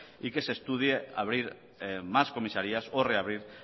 y que se estudie abrir más comisarías o reabrir